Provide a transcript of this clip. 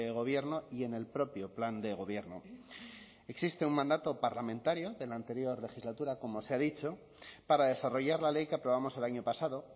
gobierno y en el propio plan de gobierno existe un mandato parlamentario de la anterior legislatura como se ha dicho para desarrollar la ley que aprobamos el año pasado